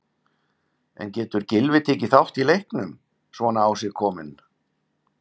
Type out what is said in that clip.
En getur Gylfi tekið þátt í leiknum, svona á sig kominn?